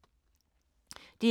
DR1